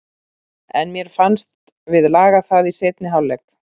En mér fannst við laga það í seinni hálfleik.